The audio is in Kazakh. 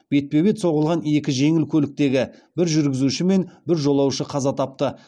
бетпе бет соғылған екі жеңіл көліктегі бір жүргізуші мен бір жолаушы қаза тапты